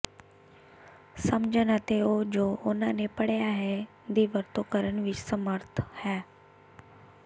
ਸਮਝਣ ਅਤੇ ਉਹ ਜੋ ਉਹਨਾਂ ਨੇ ਪੜ੍ਹਿਆ ਹੈ ਦੀ ਵਰਤੋਂ ਕਰਨ ਵਿੱਚ ਸਮਰੱਥ ਹੈ